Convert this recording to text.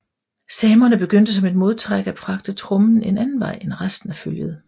Samerne begyndte som et modtræk at fragte trommen en anden vej end resten af følget